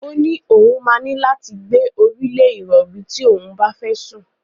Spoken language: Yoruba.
Ó́ ní òun máa ní láti gbé orí lé ìrọ̀rí tí òun bá fẹ́ sùn.